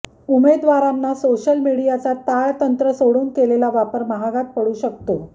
उमेदवारांना सोशल मीडियाचा ताळतंत्र सोडून केलेला वापर महागात पडू शकतो